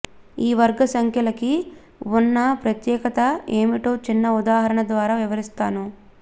ఈ వర్గ సంఖ్యలకి ఉన్న ప్రత్యేకత ఏమిటో చిన్న ఉదాహరణ ద్వారా వివరిస్తాను